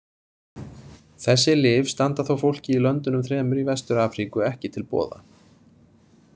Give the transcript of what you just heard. Þessi lyf standa þó fólki í löndunum þremur í Vestur-Afríku ekki til boða.